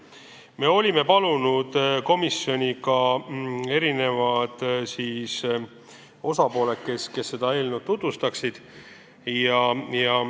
Me olime komisjoni kutsunud ka erinevad osapooled seda eelnõu tutvustama.